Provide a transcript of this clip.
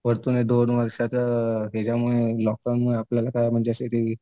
परतून ते दोन वर्षाचं ह्यांच्यामुळे लॉकडाऊनमुळे आपल्याला म्हणजे असे ते